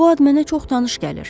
Bu ad mənə çox tanış gəlir.